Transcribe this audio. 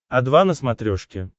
о два на смотрешке